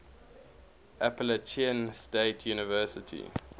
appalachian state university